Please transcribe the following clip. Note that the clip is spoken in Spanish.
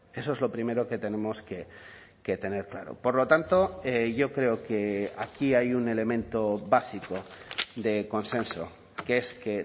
eso es lo primero que tenemos que tener claro por lo tanto yo creo que aquí hay un elemento básico de consenso que es que